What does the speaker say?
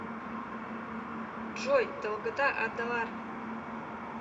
джой долгота адалар